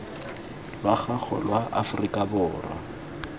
lwa gago lwa aforika borwa